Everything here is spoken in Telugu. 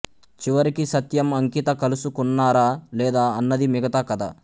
చివరికి సత్యం అంకిత కలుసుకున్నారా లేదా అన్నది మిగతా కథ